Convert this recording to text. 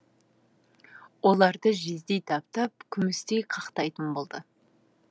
оларды жездей таптап күмістей қақтайтын болды